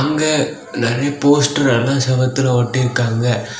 இங்க நெறைய போஸ்ட்டர் எல்லாம் செவத்துல ஒட்டிருக்காங்க.